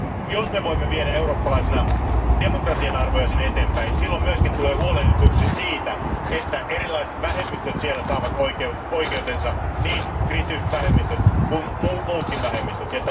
Jos me voimme viedä eurooppalaisina demokratian arvoja eteenpäin, silloin myös tulee huolehdituksi siitä, että erilaiset vähemmistöt siellä saavat oikeutensa, niin kristityt vähemmistöt kuin muutkin vähemmistöt.